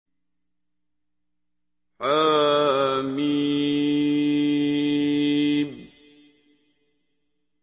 حم